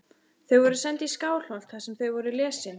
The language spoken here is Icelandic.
Þau voru send í Skálholt þar sem þau voru lesin.